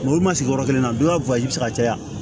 Olu ma sigi yɔrɔ kelen na donya be se ka caya